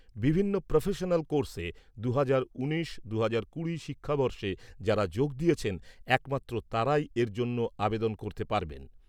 বিভিন্ন প্রফেশনাল কোর্সে দুহাজার উনিশ দুহাজার কুড়ি শিক্ষাবর্ষে যারা যোগ দিয়েছেন একমাত্র তারাই এর জন্য আবেদন করতে পারবেন।